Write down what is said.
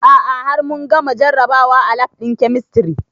A'a har mun gama jarabawa a lab ɗin kemistri